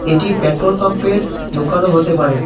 এটি পেট্রোল পাম্পের দোকানও হতে পারে।